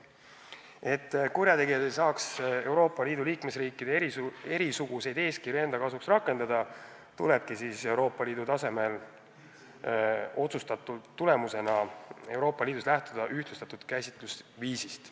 Et kurjategijad ei saaks Euroopa Liidu liikmesriikide erisuguseid eeskirju enda kasuks rakendada, tulebki Euroopa Liidu tasemel langetatud otsuste tulemusena lähtuda ühtlustatud käsitusest.